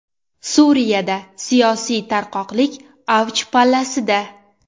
Suriyada siyosiy tarqoqlik avj pallasida.